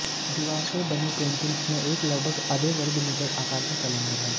दीवार पर बनी पेंटिंग्स में एक लगभग आधे वर्ग मीटर आकार का कैलेंडर है